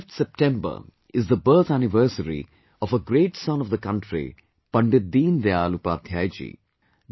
the 25th of September is the birth anniversary of a great son of the country, Pandit Deen Dayal Upadhyay ji